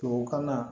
Tubabukan na